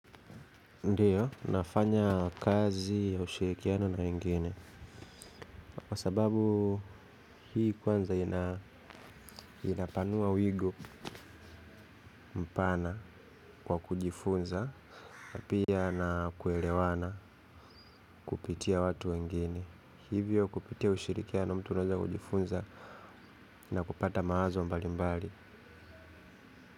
Ndiyo, nafanya kazi ya ushirikiano na wengine. Kwa sababu hii kwanza inapanua wigo mpana kwa kujifunza. Napia na kuelewana kupitia watu wengine. Hivyo kupitia ushirikiano mtu naweza kujifunza na kupata maazo mbali mbali.